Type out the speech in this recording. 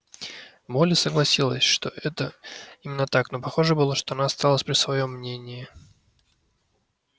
молли согласилась что это именно так но похоже было что она осталась при своём мнении